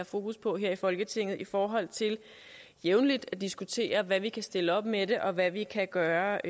fokus på her i folketinget i forhold til jævnligt at diskutere hvad vi kan stille op med det og hvad vi kan gøre